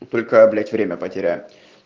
только я блять время потеряю